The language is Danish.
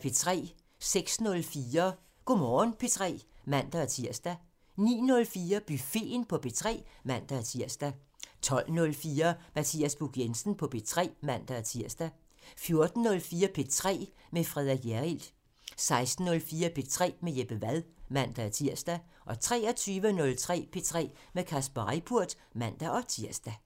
06:04: Go' Morgen P3 (man-tir) 09:04: Buffeten på P3 (man-tir) 12:04: Mathias Buch Jensen på P3 (man-tir) 14:04: P3 med Frederik Hjerrild 16:04: P3 med Jeppe Wad (man-tir) 23:03: P3 med Kasper Reippurt (man-tir)